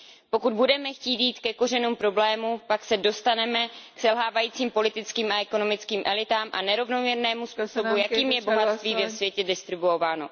Pokud budeme chtít jít ke kořenům problému, pak se dostaneme k selhávajícím politickým a ekonomickým elitám a nerovnoměrnému způsobu, jakým je bohatství ve světě distribuováno.